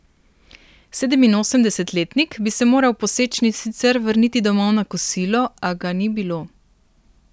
Sedeminosemdesetletnik bi se moral po sečnji sicer vrniti domov na kosilo, a ga ni bilo.